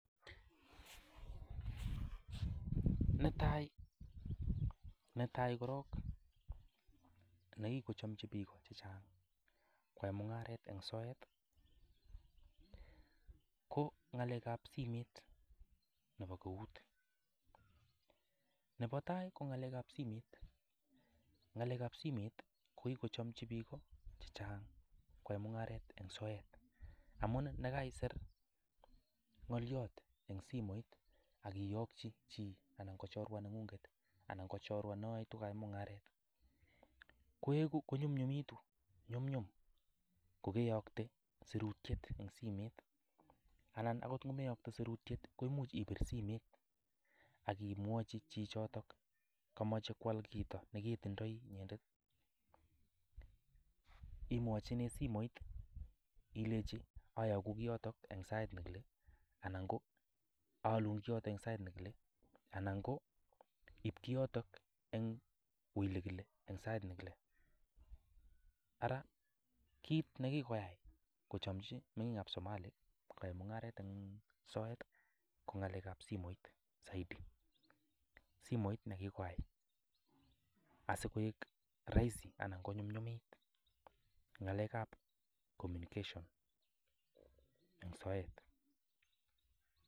Netai korong nekikochomchii biik chechang koyaa mungaret en soet i,ko ng'alekab simet neboo eut. Nebotai ko ngalekab simet, ko kichomchii biik chechang koyaa mungaret en soet, amun nekaisir ngolyot en simoit ak iyokchii chi anan ko chorwengung anan ko chorwaa noyoe twan mungaret konyumnyum kokeyoktoo sirutiet en simet. Alan akot ngomeyoktee sirutiet ko much ipir simet ak imwochi chichotok komoche koal kit neketindooi inyendet. Imwochinen simet ilenyii ayokuu kiotoon en sait nekile anan ko iib kioton en elekile en Sait nekilee, ara kit nekikoyai kochomchii mengiik ab Somali koyai mungaret en soet ko ngalekab simoit saidi. Simoit nekikoyai koik roisi anan konyumnyumit ngalekab communication en soet